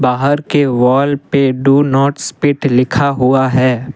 बाहर के वॉल पे डू नॉट स्पीट लिखा हुआ है।